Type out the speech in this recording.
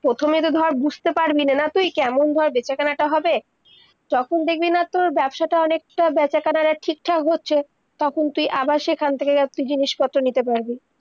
প্রথমে তো ধর বুঝত পারবিনা না তুই কেমন ধর বেচা-কানা তা হবে, যখন দেখবি না তর ব্যবসাটা অনেকটা, বেচা-কানার টা ঠিক-থাক হচ্ছে তখন তুই আবার সেইখান থেকে ইকটু জিনিস পত্র নিতে পারবি